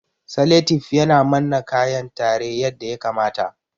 Saletif yana manna kayan tare yadda ya kamata